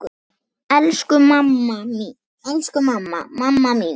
Elsku mamma, mamma mín.